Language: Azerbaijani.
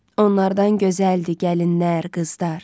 Onlardan gözəldir gəlinlər, qızdar.